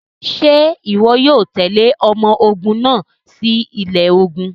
Ṣe iwọ yoo tẹle ọmọ ogun naa si ilẹ ogun?